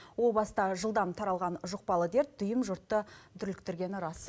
о баста жылдам таралған жұқпалы дерт дүйім жұртты дүрліктіргені рас